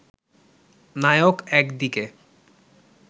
নায়ক একদিকে